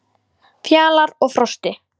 Fjalar og Frosti,